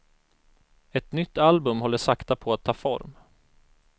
Ett nytt album håller sakta på att ta form.